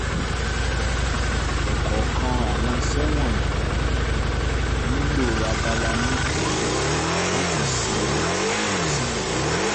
ọ̀kọ̀ọ̀kan àwọn ìṣe wọ̀nyí nílò abala méjì láti lè ṣe àkọsílẹ̀.